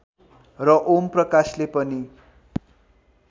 र ओम प्रकाशले पनि